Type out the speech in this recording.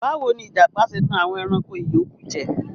Bawo ni ijapa ṣe tan awọn ẹranko iyoku jẹ?